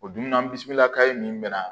O dunan bisimila kayi nin bɛna